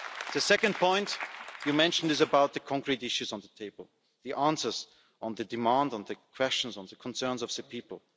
The second point you mentioned is about the concrete issues on the table. The answers on the demand, the questions, the concerns of the people.